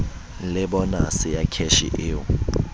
le bonase ya kheshe eo